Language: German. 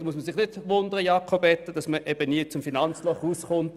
, da muss man sich nicht wundern, dass man nie aus dem Finanzloch herauskommt.